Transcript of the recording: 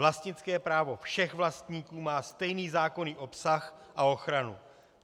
Vlastnické právo všech vlastníků má stejný zákonný obsah a ochranu.